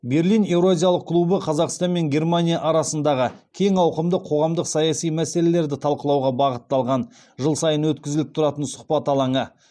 берлин еуразиялық клубы қазақстан мен германия арасындағы кең ауқымды қоғамдық саяси мәселелерді талқылауға бағытталған жыл сайын өткізіліп тұратын сұхбат алаңы